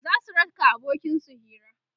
zasu raka abokin su Hira